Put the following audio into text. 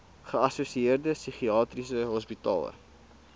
geassosieerde psigiatriese hospitale